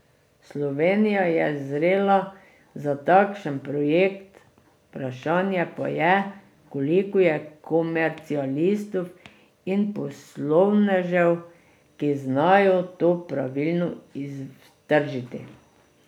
Slovenija je zrela za takšen projekt, vprašanje pa je, koliko je komercialistov in poslovnežev, ki znajo to pravilno iztržiti.